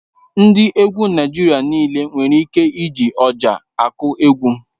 Ndị egwu Naịjirịa nịle nwere ike iji Ọjà akụ egwu